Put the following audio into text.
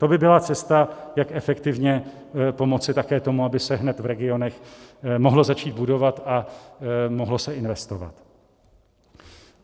To by byla cesta, jak efektivně pomoci také tomu, aby se hned v regionech mohlo začít budovat a mohlo se investovat.